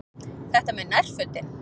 Þetta með nærfötin.